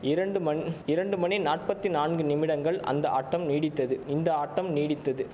இரண்டு மண் இரண்டு மணி நாற்பத்தி நான்கு நிமிடங்கள் அந்த ஆட்டம் நீடித்தது இந்த ஆட்டம் நீடித்தது